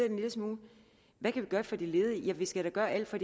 en lille smule hvad kan vi gøre for de ledige ja vi skal da gøre alt for